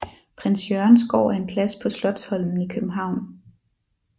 Prins Jørgens Gård er en plads på Slotsholmen i København